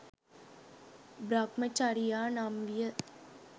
බ්‍රහ්මචරියා නම් විය.